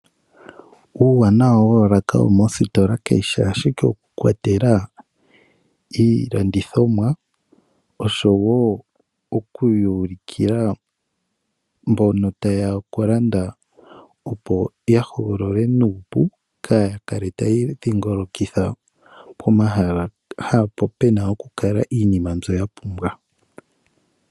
Uuwanawa woolaka dhomoositola kayi shi ashike okukwatela iilandithomwa, ihe okuyuulukila mbono taye ya okulanda opo ya hogole iinima nuupu, kaa ya kale taya idhingolokitha pomahala ngono pe na iinima mbyono ya pumbwa.